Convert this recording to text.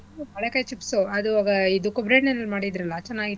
ಬಾಳೆಕಾಯಿ chips ಉ ಅದು ಇದು ಕೊಬ್ರಣ್ಣೆಲ್ ಮಾಡಿದ್ರಲ್ಲಾ ಚೆನ್ನಾಗಿತ್ತಲ್ಲ.